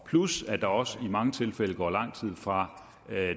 plus at der også i mange tilfælde går lang tid fra